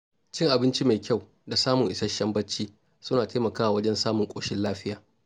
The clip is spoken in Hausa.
Cin abinci mai kyau da samun isasshen bacci suna taimakawa wajen samun ƙoshin lafiya.